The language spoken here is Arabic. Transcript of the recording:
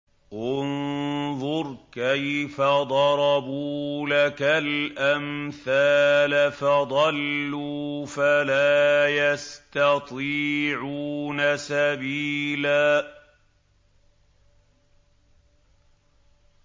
انظُرْ كَيْفَ ضَرَبُوا لَكَ الْأَمْثَالَ فَضَلُّوا فَلَا يَسْتَطِيعُونَ سَبِيلًا